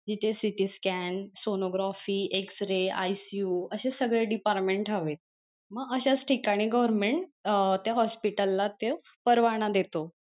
जिथे citi scan, sonography, x-rayICU असे सगळे department हवे म अश्याच ठिकाणी government अं त्या hospital ला तो परवाना देतो.